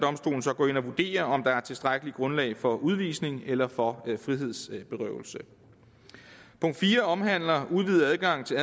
gå ind og vurdere om der er tilstrækkeligt grundlag for udvisning eller for frihedsberøvelse punkt fire omhandler udvidet adgang til